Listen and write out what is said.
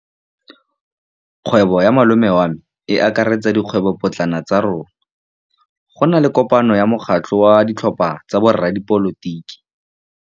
Kgwêbô ya malome wa me e akaretsa dikgwêbôpotlana tsa rona. Go na le kopanô ya mokgatlhô wa ditlhopha tsa boradipolotiki.